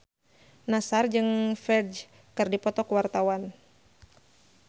Nassar jeung Ferdge keur dipoto ku wartawan